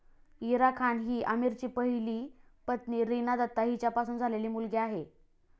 इरा खान ही आमिरची पहिली पत्नी रीना दत्ता हिच्यापासून झालेली मुलगी आहे.